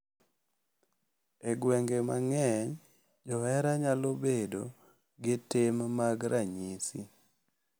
E gwenge mang’eny, johera nyalo bedo gi tim mag ranyisi,